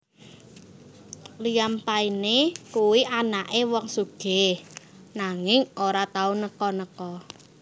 Liam Payne kuwi anake wong sugih nanging ora tau neko neko